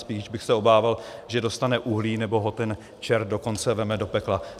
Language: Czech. Spíš bych se obával, že dostane uhlí nebo ho ten čert dokonce vezme do pekla.